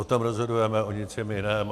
O tom rozhodujeme, o ničem jiném.